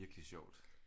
Er virkelig sjovt